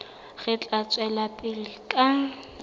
re tla tswela pele ka